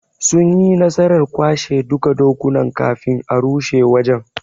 Sunyi nasarar kwashe duka dokunan kafin a rushe wajen '.